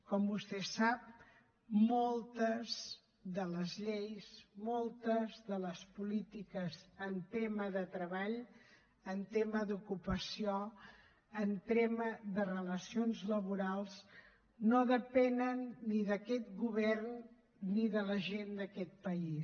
com vostè sap moltes de les lleis moltes de les polítiques en tema de treball en tema d’ocupació en tema de relacions laborals no depenen ni d’aquest govern ni de la gent d’aquest país